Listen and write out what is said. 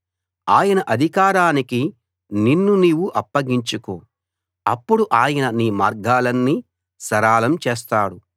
ఆయన అధికారానికి నిన్ను నీవు అప్పగించుకో అప్పుడు ఆయన నీ మార్గాలన్నీ సరళం చేస్తాడు